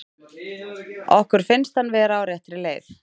Okkur finnst hann vera á réttri leið.